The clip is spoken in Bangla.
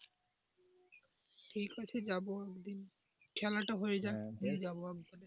ঠিক আছে যাবো একদিন খেলাটা হয়ে যাক, নিয়ে যাব একদিন।